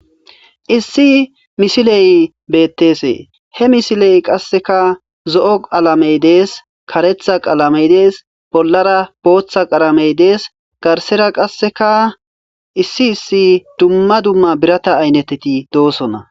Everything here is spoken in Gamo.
issi misiley bettese he misiley qasseka zo7o qalamey dees karetha qalamey dees bollara booththa qalamey dees garsera qasseka issi issi dumma dumma birata ayneteti doosona.